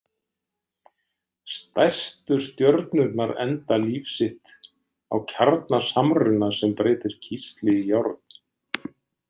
Stærstu stjörnurnar enda líf sitt á kjarnasamruna sem breytir kísli í járn.